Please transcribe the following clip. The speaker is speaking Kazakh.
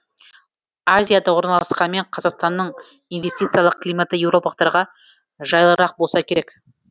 азияда орналасқанымен қазақстанның инвестициялық климаты еуропалықтарға жайлырақ болса керек